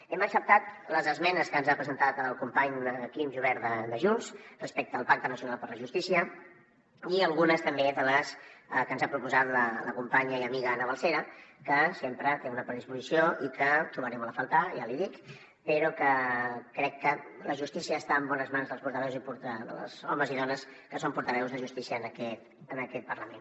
hem acceptat les esmenes que ens ha presentat el company quim jubert de junts respecte al pacte nacional per la justícia i algunes també de les que ens ha proposat la companya i amiga ana balsera que sempre té una predisposició i que trobaré molt a faltar ja l’hi dic però que crec que la justícia està en bones mans dels portaveus dels homes i dones que són portaveus de justícia en aquest parlament